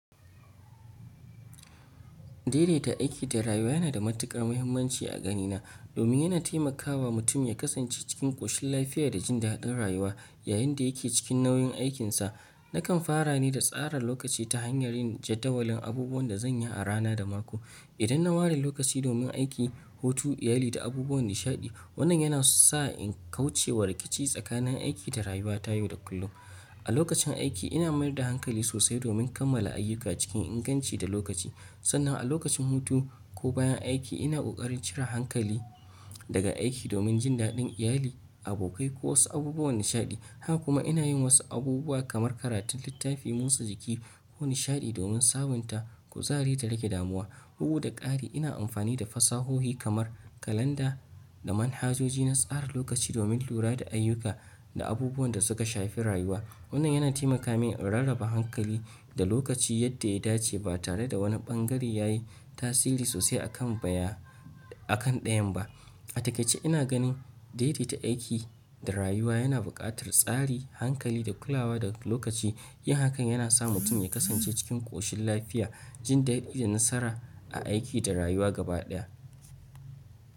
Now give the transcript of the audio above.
Daidaita aiki da rayuwa yana da matuƙar muhimmanci a ganina domin yana taimakawa mutum ya kasance cikin ƙoshin lafiya da jin daɗin rayuwa yayin da yake cikin nauyin aikinsa. Nakan fara ne da tsara lokaci ta hanyar yin jadawalin abubuwan da zan yi a rana da mako. Idan na ware lokaci domin aiki, hutu, iyali da abubuwan nishaɗi, wannan yana sa in kauce wa rikici tsakanin aiki da rayuwa ta yau da kullum. A lokacin aiki ina mayar da hankali sosai domin kammala ayyuka cikin inganci da lokaci. Sannan a lokacin hutu ko bayan aiki ina ƙoƙarin cire hankali daga aiki domin jin daɗin iyali, abokai ko wasu abubuwan nishaɗi. Haka kuma ina yin wasu abubuwa kamar karatun littafi, motsa jiki ko nishaɗi domin sabunta kuzahari da rage damuwa. Bugu da ƙari ina amfani da fasahohi kamar kalanda da manhajoji na tsara lokaci domin lura da ayyuka da abubuwan da suka shafi rayuwa. Wannan yana taimaka min in rarraba hankali da lokaci yadda ya dace ba tare da wani ɓangare ya yi tasiri sosai a kan ɗayan ba. A takaice ina ganin daidaita aiki da rayuwa yana buƙatar tsari, hankali da kulawa da lokaci. Yin hakan yana sa mutum ya kasance cikin ƙoshin lafiya, jin daɗi da nasara a aiki da rayuwa gaba ɗaya.